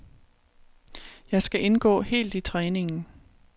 Jeg skal indgå helt i træningen.